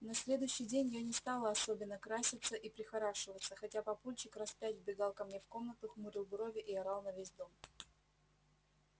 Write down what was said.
на следующий день я не стала особенно краситься и прихорашиваться хотя папульчик раз пять вбегал ко мне в комнату хмурил брови и орал на весь дом